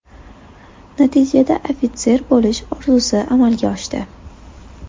Natijada, ofitser bo‘lish orzusi amalga oshdi”.